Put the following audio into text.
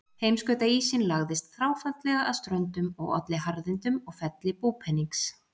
Heimskautaísinn lagðist þráfaldlega að ströndum og olli harðindum og felli búpenings.